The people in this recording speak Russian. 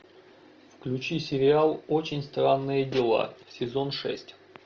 включи сериал очень странные дела сезон шесть